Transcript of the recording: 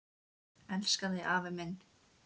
Elska þig, afi minn.